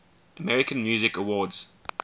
american music awards